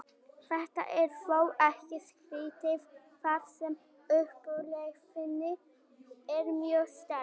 þetta er þó ekkert skrítið þar sem upplifunin er mjög sterk